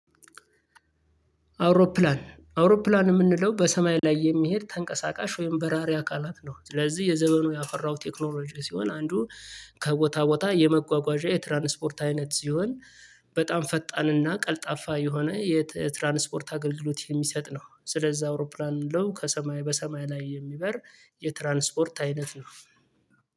አውሮፕላን አውሮፕላን የምንለው በሰማይ ላይ የሚሄድ ተንቀሳቃሽ ወይም በራሪ አካላት ነው። ስለዚህ የዘመኑ ያፈራው ቴክኖሎጂ ሲሆን አንዱ ከቦታ ቦታ የመጓጓዣ የትራንስፖርት አይነት ሲሆን በጣም ፈጣንና ቀልጣፋ የሆነ የትራንስፖርት አገልግሎት የሚሰጥ ነው። ስለዛ አውሮፕላን የምንለው ከሰማይ በሰማይ ላይ የሚበር የትራንስፖርት አይነት ነው።